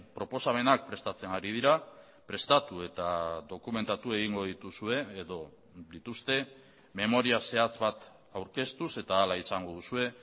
proposamenak prestatzen ari dira prestatu eta dokumentatu egingo dituzue edo dituzte memoria zehatz bat aurkeztuz eta hala izango duzue